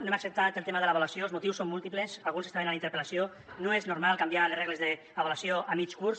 no hem acceptat el tema de l’avaluació els motius som múltiples alguns estaven en la interpel·lació no és normal canviar les regles d’avaluació a mig curs